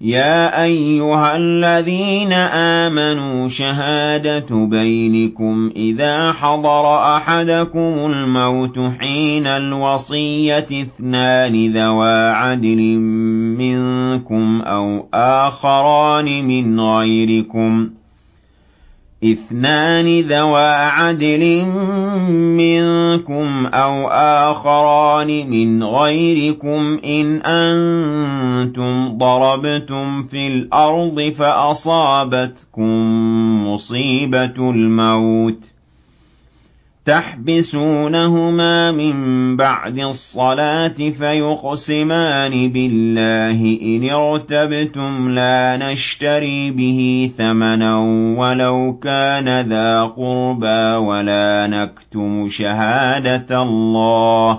يَا أَيُّهَا الَّذِينَ آمَنُوا شَهَادَةُ بَيْنِكُمْ إِذَا حَضَرَ أَحَدَكُمُ الْمَوْتُ حِينَ الْوَصِيَّةِ اثْنَانِ ذَوَا عَدْلٍ مِّنكُمْ أَوْ آخَرَانِ مِنْ غَيْرِكُمْ إِنْ أَنتُمْ ضَرَبْتُمْ فِي الْأَرْضِ فَأَصَابَتْكُم مُّصِيبَةُ الْمَوْتِ ۚ تَحْبِسُونَهُمَا مِن بَعْدِ الصَّلَاةِ فَيُقْسِمَانِ بِاللَّهِ إِنِ ارْتَبْتُمْ لَا نَشْتَرِي بِهِ ثَمَنًا وَلَوْ كَانَ ذَا قُرْبَىٰ ۙ وَلَا نَكْتُمُ شَهَادَةَ اللَّهِ